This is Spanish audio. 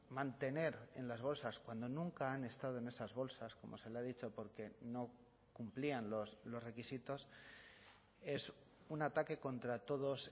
mantener en las bolsas cuando nunca han estado en esas bolsas como se le ha dicho porque no cumplían los requisitos es un ataque contra todos